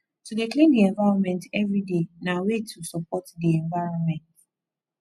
to de clean di environment everyday na way to support di environment